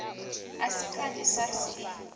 a si kanzhi sars i